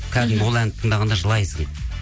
кәдімгі ол әнді тыңдағанда жылайсың